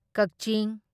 ꯀꯥꯛꯆꯤꯡ